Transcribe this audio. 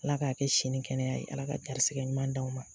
Ala k'a kɛ si ni kɛnɛya ye, Ala ka garisigɛ ɲuman d'aw ma.